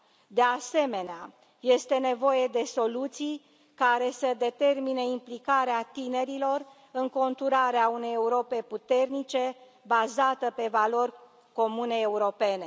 De asemenea, este nevoie de soluții care să determine implicarea tinerilor în conturarea unei Europe puternice, bazate pe valori comune europene.